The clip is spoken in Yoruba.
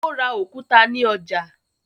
Ó ra òkúta ní ọjà.